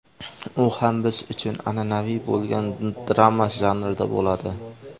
U ham biz uchun an’anaviy bo‘lgan drama janrida bo‘ladi.